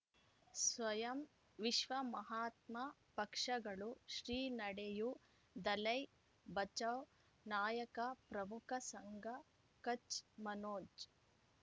ಸ್ವಯಂ ವಿಶ್ವ ಮಹಾತ್ಮ ಪಕ್ಷಗಳು ಶ್ರೀ ನಡೆಯೂ ದಲೈ ಬಚಾ ನಾಯಕ ಪ್ರಮುಖ ಸಂಘ ಕಚ್ ಮನೋಜ್